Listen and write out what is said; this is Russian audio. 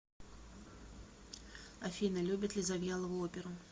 афина любит ли завьялова оперу